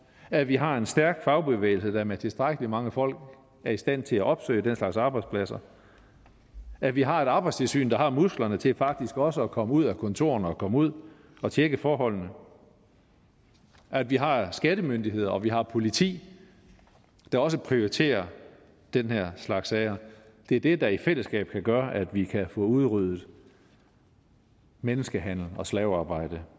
at vi har en stærk fagbevægelse der med tilstrækkelig mange folk er i stand til at opsøge den slags arbejdspladser at vi har et arbejdstilsyn der har musklerne til faktisk også at komme ud af kontorerne og komme ud og tjekke forholdene at vi har skattemyndigheder og vi har politi der også prioriterer denne slags sager det er det der i fællesskab kan gøre at vi kan få udryddet menneskehandel og slavearbejde